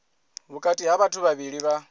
vhukati ha vhathu vhavhili vha